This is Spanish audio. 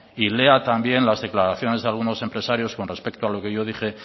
y lea también las declaraciones de algunos empresarios con respecto a lo que yo dije